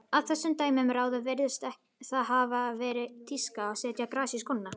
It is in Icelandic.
Af þessum dæmum að ráða virðist það hafa verið tíska að setja gras í skóna.